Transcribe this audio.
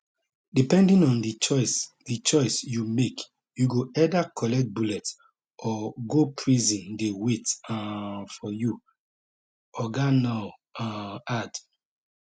depending on di choice di choice you make you go either collect bullet or go prison dey wait um for you oga nuur um add